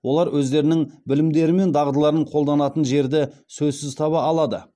олар өздерінің білімдері мен дағдыларын қолданатын жерді сөзсіз таба алады